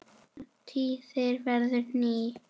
og tíðin verður ný.